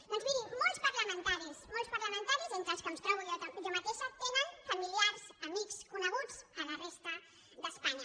doncs miri molts parlamentaris entre els quals em trobo jo mateixa tenen familiars amics co·neguts a la resta d’espanya